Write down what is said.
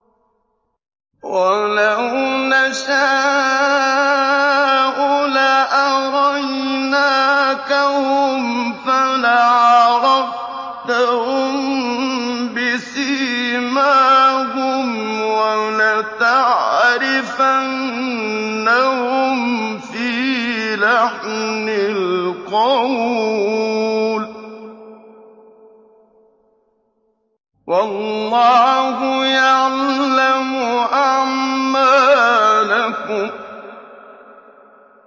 وَلَوْ نَشَاءُ لَأَرَيْنَاكَهُمْ فَلَعَرَفْتَهُم بِسِيمَاهُمْ ۚ وَلَتَعْرِفَنَّهُمْ فِي لَحْنِ الْقَوْلِ ۚ وَاللَّهُ يَعْلَمُ أَعْمَالَكُمْ